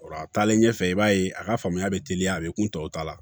a taalen ɲɛfɛ i b'a ye a ka faamuya bɛ teliya a bɛ kun tɔw ta la